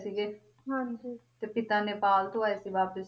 ਤੇ ਪਿਤਾ ਨੇਪਾਲ ਤੋਂ ਆਏ ਸੀ ਵਾਪਿਸ